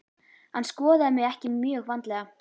Hann skoðaði mig ekki mjög vandlega.